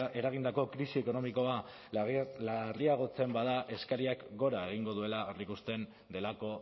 eragindako krisi ekonomikoa larriagotzen bada eskariak gora egingo duela aurreikusten delako